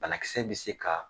Banakisɛ bɛ se ka